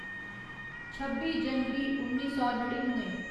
छब्बी जनवरी उन्नी सौ नड़िनुए